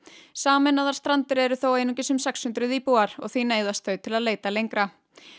sameinaðar Strandir eru þó einungis um sex hundruð íbúar og því neyðast þau til að leita lengra